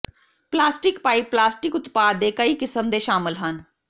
plastic pipe plastic ਉਤਪਾਦ ਦੇ ਕਈ ਕਿਸਮ ਦੇ ਸ਼ਾਮਲ ਹਨ